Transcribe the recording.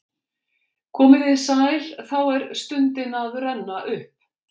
Komiði sæl Þá er stundin að renna upp.